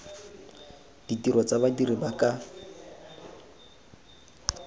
ditiro tsa badiri ba ka